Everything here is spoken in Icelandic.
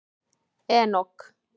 Enok